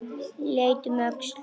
Leit um öxl.